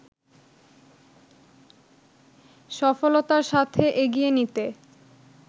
সফলতার সাথে এগিয়ে নিতে